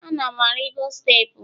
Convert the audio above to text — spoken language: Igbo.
Ana m arigo steepụ